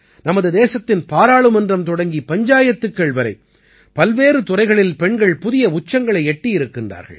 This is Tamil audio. நமது தேசத்தின் பாராளுமன்றம் தொடங்கி பஞ்சாயத்துக்கள் வரை பல்வேறு துறைகளில் பெண்கள் புதிய உச்சங்களை எட்டியிருக்கின்றார்கள்